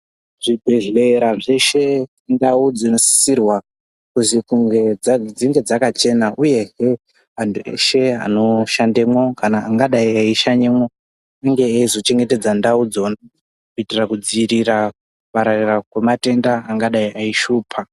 Zvibhedhlera zveshe ndau dzinosisirwa kuzi kunge dzinge dzakachena. Uyezve antu eshe anoshanda mwo kana angadai eishanyamwo anenge eizochengetedza ndau dzo kuitira kudziirira kupararira kwematenda angadai eishupa.